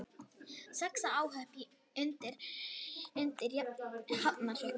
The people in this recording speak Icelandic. Sex óhöpp undir Hafnarfjalli